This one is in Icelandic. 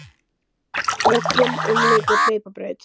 Völlinn umlykur hlaupabraut.